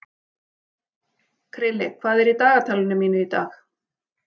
Krilli, hvað er í dagatalinu mínu í dag?